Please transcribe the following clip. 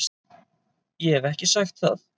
Ég hef ekki sagt það!